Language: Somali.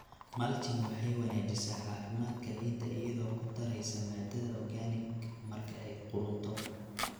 Mulching waxay wanaajisaa caafimaadka ciidda iyadoo ku daraysa maadada organic marka ay qudhunto.